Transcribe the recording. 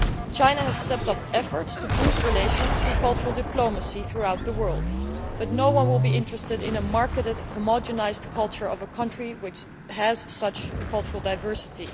China has stepped up efforts to boost relations through cultural diplomacy throughout the world, but no one will be interested in a marketed, homogenised culture of a country which has such cultural diversity.